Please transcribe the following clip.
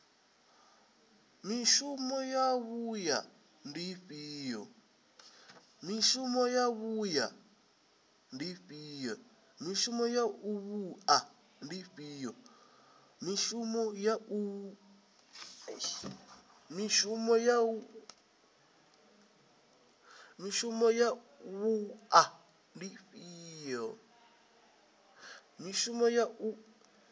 mishumo ya wua ndi ifhio